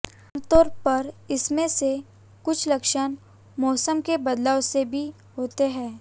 आमतौर पर इनमें से कुछ लक्षण मौसम के बदलाव से भी होते हैं